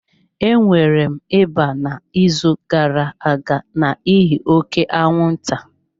Enwere m ịba n'izu gara-aga n'ihi oke anwụnta.